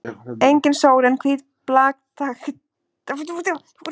Engin sól en hvít blaktandi gardína fyrir glugganum og úti glitti í hátt grenitré.